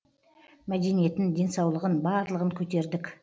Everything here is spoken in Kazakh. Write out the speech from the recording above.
мәдениетін денсаулығын барлығын көтердік